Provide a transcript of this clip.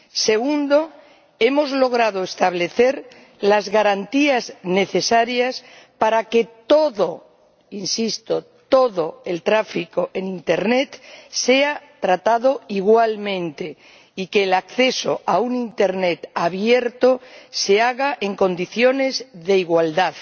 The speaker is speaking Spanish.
Segundo, hemos logrado establecer las garantías necesarias para que todo —insisto todo— el tráfico en internet sea tratado igualmente y que el acceso a un internet abierto se haga en condiciones de igualdad,